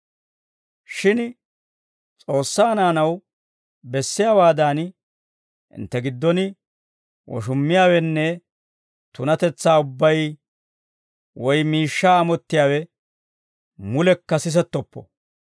Shin S'oossaa naanaw bessiyaawaadan, hintte giddon woshummiyaawenne tunatetsaa ubbay, woy miishshaa amottiyaawe mulekka sisettoppo.